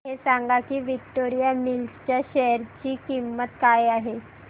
हे सांगा की विक्टोरिया मिल्स च्या शेअर ची किंमत काय आहे